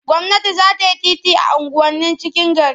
Gwamnati za ta yi titi a unguwannin cikin gari.